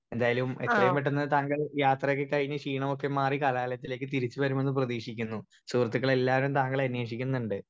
Speaker 1 എന്തായാലും എത്രേം പെട്ടന്ന് താങ്കൾ യാത്രയൊക്കെ കഴിഞ്ഞ് ക്ഷീണവൊക്കെ മാറി കലാലയത്തിലേക്ക് തിരിച്ച് വരുമെന്ന് പ്രേതിഷിക്കുന്നു സുഹൃത്ത്ക്കൾ എല്ലാവരും താങ്കളെ അന്വേഷിക്കുന്നുണ്ട്.